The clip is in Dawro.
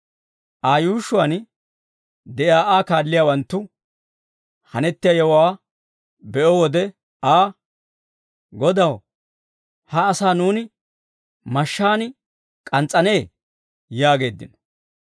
Aa yuushshuwaan de'iyaa Aa kaalliyaawanttu hanettiyaa yewuwaa be'o wode Aa, «Godaw, ha asaa nuuni mashshaan k'ans's'anee?» yaageeddino.